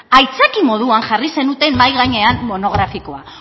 aitzakia moduan jarri zenuten mahai gainean monografikoa